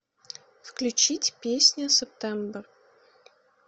включить песня септембер